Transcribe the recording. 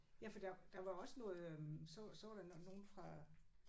Ja for der der var også noget øh så så var der nogle fra